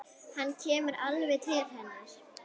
Hann kemur alveg til hennar.